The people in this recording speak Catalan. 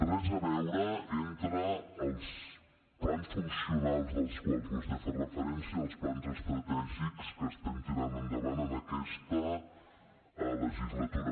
res a veure entre els plans funcionals als quals vostè fa referència i els plans estratègics que estem tirant endavant en aquesta legislatura